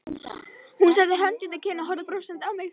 Hún setti hönd undir kinn og horfði brosandi á mig.